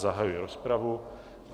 Zahajuji rozpravu.